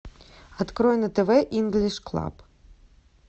открой на тв инглиш клаб